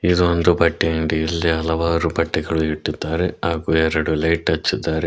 ಇದು ಒಂದು ಬಟ್ಟೆ ಅಂಗ್ಡಿ ಇಲ್ಲಿ ಹಲವಾರು ಬಟ್ಟೆಗಳು ಇಟ್ಟಿದ್ದಾರೆ ಹಾಗು ಎರಡು ಲೈಟ್ ಹಚ್ಚಿದ್ದಾರೆ.